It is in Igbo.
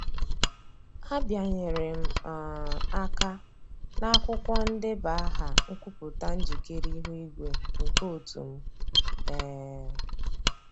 A bịanyere m um aka n'akwụkwọ ndeba aha nkwupụta njikere ihu igwe nke otu m. um